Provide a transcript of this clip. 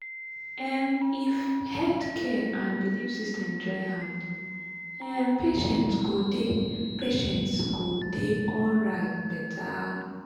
um if health care and belief system join hand um patients go dey patients go dey alright better.